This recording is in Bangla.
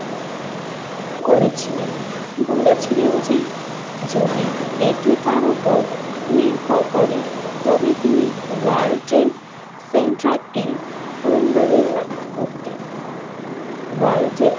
করেছিলেন বলেছিলেন যে যদি এটি তার উপর নির্ভর করে তবে তিনি ওয়ার্ল্ড ট্রেড সেন্টারটি পণ্য নির্মাণ করতে ওয়ার্ল্ড ট্রেড।